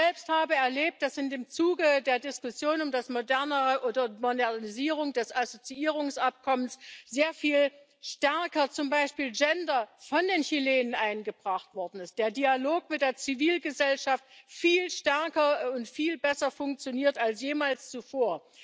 Ich selbst habe erlebt, dass im Zuge der Diskussion um die Modernisierung des Assoziierungsabkommens zum Beispiel Gender sehr viel stärker von den Chilenen eingebracht worden ist, der Dialog mit der Zivilgesellschaft viel stärker und viel besser funktioniert als jemals zuvor.